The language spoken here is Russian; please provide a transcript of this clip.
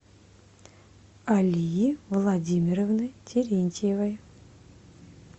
алии владимировны терентьевой